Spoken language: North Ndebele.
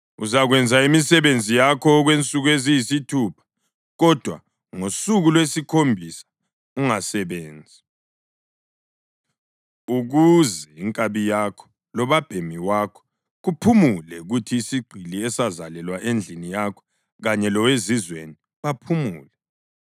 Uzakwenza imisebenzi yakho okwensuku eziyisithupha, kodwa ngosuku lwesikhombisa ungasebenzi, ukuze inkabi yakho lobabhemi wakho kuphumule, kuthi isigqili esazalelwa endlini yakho kanye lowezizweni baphumule.